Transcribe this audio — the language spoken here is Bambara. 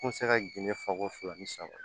N bɛ se ka gende fɔ ko fila ni saba